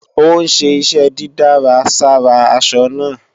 Ó ń ṣe iṣẹ́ dídárà sára aṣọ náà